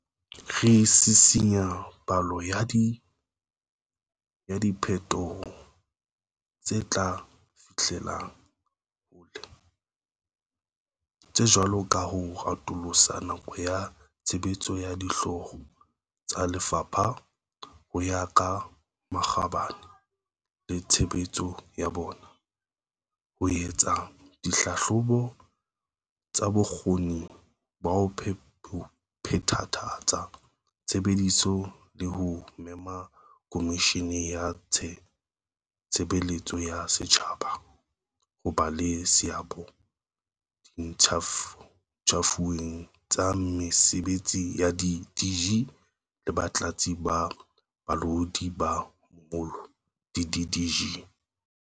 Re sisinya palo ya diphe toho tse tla finyellang hole, tse jwalo ka ho atolosa nako ya tshebetso ya Dihlooho tsa Lefapha ho ya ka makgabane le tshebetso ya bona, ho etsa dihlahlobo tsa bokgoni ba ho phethahatsa tshebetso le ho mema Komishini ya Tshe beletso ya Setjhaba ho ba le seabo diinthaviung tsa mese betsi ya di-DG le Batlatsi ba Balaodi ba Moholo, di-DDG.